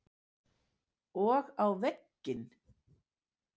Og á vegginn.